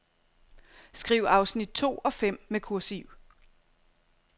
Skriv afsnit to og fem med kursiv.